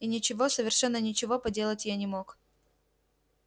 и ничего совершенно ничего поделать я не мог